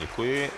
Děkuji.